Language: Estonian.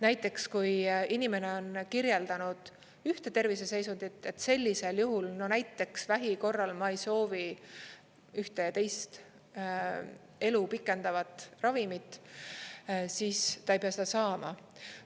Näiteks, kui inimene on kirjeldanud ühte terviseseisundit, sellisel juhul … no näiteks vähi korral ma ei soovi ühte ja teist elu pikendavat ravimit, siis ta ei pea seda saama.